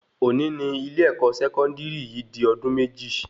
Òní ní ilé-èkó sẹkọndiri yìí di ọdún méjì